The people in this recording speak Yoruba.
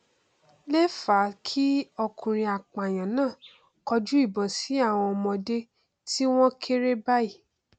lè fa kí ọkùnrin apààyàn náà kọjú ìbọn sí àwọn ọmọdé tí wọn kéré báyìí